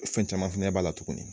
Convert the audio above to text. Fɛn caman fana b'a la tuguni.